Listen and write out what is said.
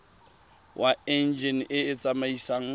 wa enjine e e tsamaisang